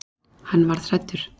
Hann varð hræddur.